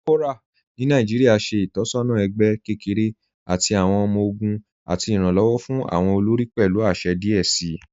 Kòpọra ni Nàìjíríà ṣẹ̀ itọsọna ẹgbẹ̀ kẹkẹ̀rẹ̀ tì awọn ọmọ-ọgùn àti iranlọwọ fún awọn olórí pẹ̀lú àṣẹ̀ díẹ̀ sí.